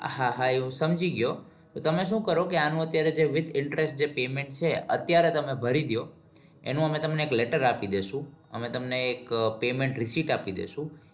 હા હા એ હું સમજી ગયો તો તમે શું કરો કે આનું અત્યારે જે with interest જે payment છે અત્યારે તમે ભરીદો એનો અમે તમને એક letter આપી દેશું અમે તમને એક payment receipt આપી દેશું